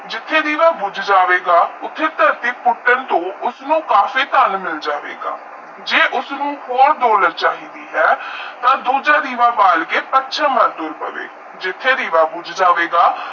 ਜਿੱਥੇ ਦੀਵਾ ਬੁਜ ਜਾਵੇ ਗਾ ਉਸਤੇ ਥਾਰਤੀ ਉੱਸਣੇ ਫੁੱਟਣ ਤੋਂ ਉਸਨੂੰ ਕਾਫੀ ਧਨ ਮਿਲ ਜਾਵੇਗਾ ਜੇ ਉਸਨੂੰ ਤਾ ਦੂਜਾ ਦੇਵਾ ਬਾਲ ਕੇ ਪੱਛਮ ਵੱਲ ਤੁਰ ਪਾਵੇ ਜਿਤੇ ਦੇਵਾ ਬੁਜ ਜਾਵੇਗਾ